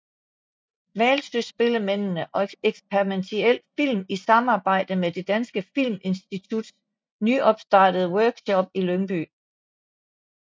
Hvalsøspillemændene og eksperimental film i samarbejde med Det Danske Filminstituts nystartede Workshop i Lyngby